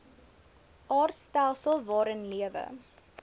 aardstelsel waarin lewe